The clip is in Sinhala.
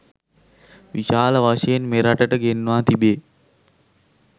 විශාල වශයෙන් මෙරටට ගෙන්වා තිබේ